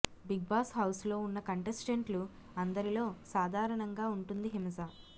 big Boss హౌస్లో ఉన్న కంటెస్టెంట్లు అందరిలో సాధారణంగా ఉంటుంది హిమజ